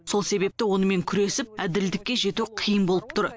сол себепті онымен күресіп әділдікке жету қиын болып тұр